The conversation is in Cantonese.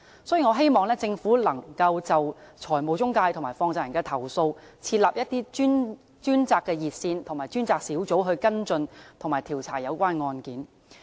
所以，我希望政府能夠就財務中介及放債人的投訴設立專責熱線和專責小組跟進及調查有關案件。